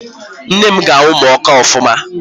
Nne m ga-anwụ ma ọ kaa ofụma.